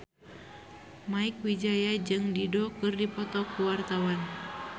Mieke Wijaya jeung Dido keur dipoto ku wartawan